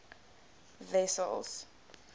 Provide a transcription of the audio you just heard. wessels